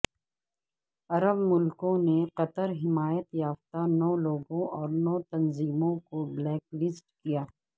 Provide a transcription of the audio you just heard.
عرب ملکوں نے قطر حمایت یافتہ نو لوگوں اور نو تنظیموں کو بلیک لسٹ کیا